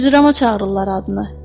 Cırcırama çağırırlar adını.